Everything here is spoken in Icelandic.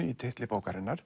í titlinum